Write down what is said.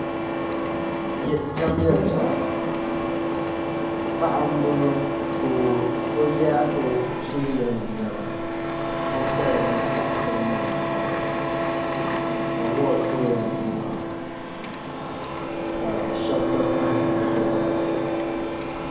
Paɣa n boŋo ka o yɛ o zuliya ni niɛma o kaya ni taada ni niɛma n bala awood ka o yɛn di maa ka shab gba pahi o zuɣu